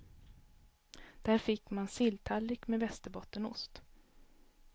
Där fick man silltallrik med västerbottenost.